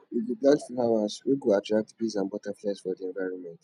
we go plant flowers wey go attract bees and butterflies for di environment